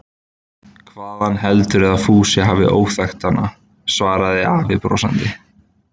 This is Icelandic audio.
Hvaðan heldurðu að Fúsi hafi óþekktina? svaraði afi brosandi.